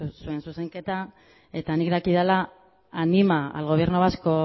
zuen zuzenketa eta nik dakidala anima